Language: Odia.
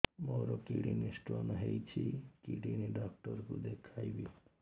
ମୋର କିଡନୀ ସ୍ଟୋନ୍ ହେଇଛି କିଡନୀ ଡକ୍ଟର କୁ ଦେଖାଇବି